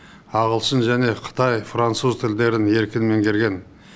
ағылшын және қытай француз тілдерін еркін меңгерген